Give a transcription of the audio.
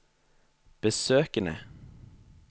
besøkene